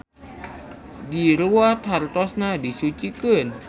Diruwat hartosna disucikeun.